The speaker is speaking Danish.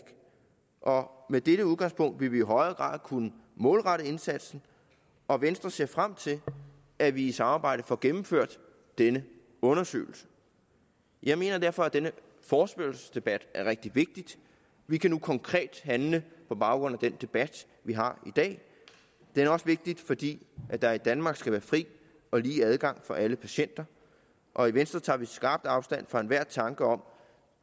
og med dette udgangspunkt vil vi i højere grad kunne målrette indsatsen og venstre ser frem til at vi i samarbejde får gennemført denne undersøgelse jeg mener derfor at denne forespørgselsdebat er rigtig vigtig vi kan nu konkret handle på baggrund af den debat vi har i dag den er også vigtig fordi der i danmark skal være fri og lige adgang for alle patienter og i venstre tager vi skarpt afstand fra enhver tanke om